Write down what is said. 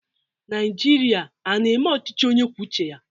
Naịjirịa a na-eme ọchịchị onye kwuo uche ya?